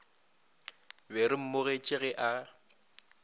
be re mmogetše ge a